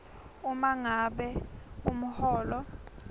uma ngabe umholo